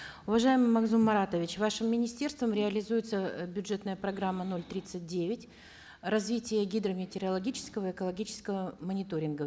уважаемый магзум маратович вашим министерством реализуется э бюджетная программа ноль тридцать девять развитие гидрометеорологического экологического мониторинга